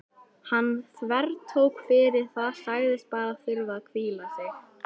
Hann þvertók fyrir það, sagðist bara þurfa að hvíla sig.